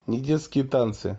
не детские танцы